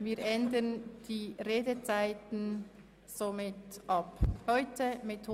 Sie haben diesem Vorschlag zugestimmt.